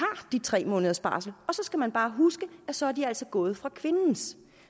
de tre måneders barsel og så skal man bare huske at så er de altså gået fra kvindens